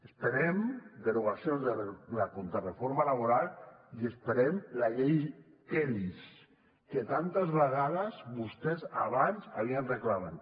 esperem derogacions de la contrareforma laboral i esperem la llei kellys que tantes vegades vostès abans havien reclamat